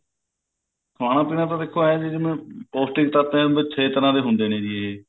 ਖਾਣਾ ਪੀਣਾ ਤਾਂ ਦੇਖੋ ਐਂ ਹੈ ਜਿਵੇਂ ਪੋਸਟਿਕ ਤੱਤ ਛੇ ਤਰ੍ਹਾਂ ਦੇ ਹੁੰਦੇ ਨੇ ਜੀ ਇਹ